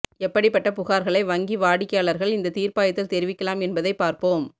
எப்படிப்பட்ட புகார்களை வங்கி வாடிக்கையாளர்கள் இந்த தீர்ப்பாயத்தில் தெரிவிக்கலாம் என்பதைப் பார்ப்போம்